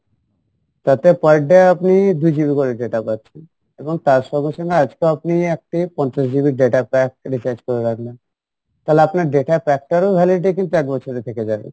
তাতে per day আপনি দু GB করে data পাচ্ছেন এবং তার সঙ্গে সঙ্গে আজকেও আপনি একটি পঞ্চাশ GB data pack recharge করে রাখলেন তালে আপনার data pack টারও validity তো এক বছরের থেকে যাবে